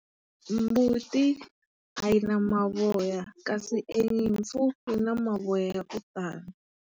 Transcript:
Mbuti a yi na mavoya, kasi e nyimpfu yi na mavoya ya ku tala.